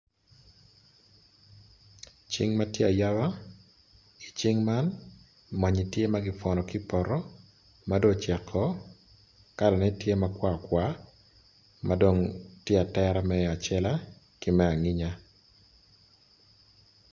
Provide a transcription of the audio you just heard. Cing matye ayaba i cing man mwanyi tye magipwono kipoto mado ocek o kalane tye makwar kwar madong tye atera me acela ki ma anginya.